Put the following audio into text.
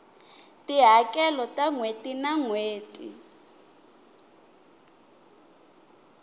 tihakelo ta nhweti na nhweti